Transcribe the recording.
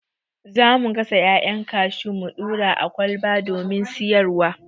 Za mu gasa 'ya'yan kashu mu ɗura a ƙwalba domin siyar wa.